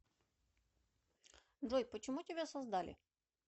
джой почему тебя создали